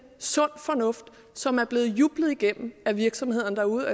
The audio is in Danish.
sund fornuft som er blevet jublet igennem af virksomhederne derude